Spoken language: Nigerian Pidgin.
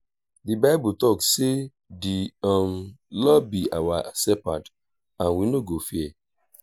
the bible talk say the um lord be our shepherd and we no go fear